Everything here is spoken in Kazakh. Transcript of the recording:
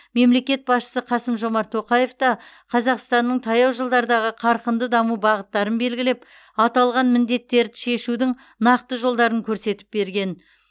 мемлекет басшысы қасым жомарт тоқаев та қазақстанның таяу жылдардағы қарқынды даму бағыттарын белгілеп аталған міндеттері шешудің нақты жолдарын көрсетіп берген